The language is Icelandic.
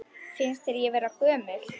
Finnst þér ég vera gömul?